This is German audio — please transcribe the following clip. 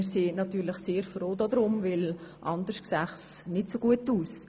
Wir sind natürlich sehr froh darum, denn sonst sähe es nicht so gut aus.